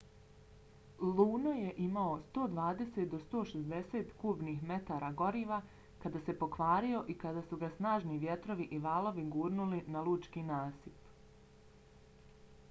luno je imao 120-160 kubnih metara goriva kada se pokvario i kada su ga snažni vjetrovi i valovi gurnuli na lučki nasip